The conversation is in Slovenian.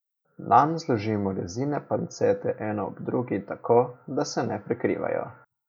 Nanj zložimo rezine pancete eno ob drugi tako, da se ne prekrivajo.